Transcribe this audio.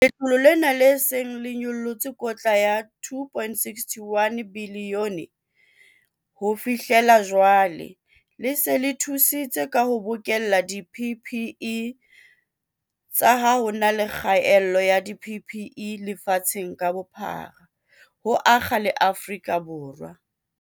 Letlole lena, le seng le nyollotse kotla ya R2.61 bilione ho fi hlela jwale, le se le thusitse ka ho bokella di-PPE tsa ho le kgaello ya di-PPE lefatshe ka bophara, ho akga le Afrika Borwa.